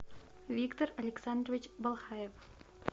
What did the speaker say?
виктор александрович балхаев